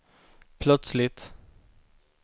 plötsligt